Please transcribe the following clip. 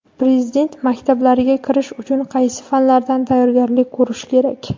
Prezident maktablariga kirish uchun qaysi fanlardan tayyorgarlik ko‘rish kerak?.